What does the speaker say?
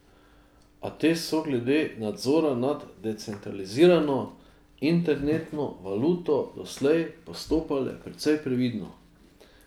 A te so glede nadzora nad decentralizirano internetno valuto doslej postopale precej previdno.